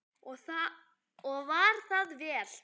Og var það vel.